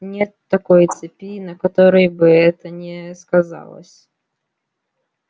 нет такой цепи на которой бы это не сказалось